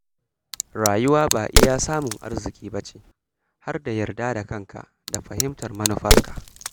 Rayuwa ba kawai samun arziki ba ce, har da yarda da kanka da fahimtar manufarka.